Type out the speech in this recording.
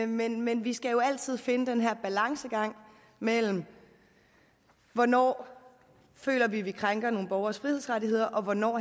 men men vi skal jo altid finde den her balancegang mellem hvornår vi føler at vi krænker nogle borgeres frihedsrettigheder og hvornår